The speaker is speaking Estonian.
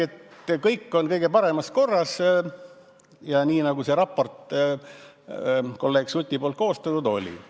See, et kõik on kõige paremas korras ja nii, nagu kolleeg Suti koostatud raportis oli.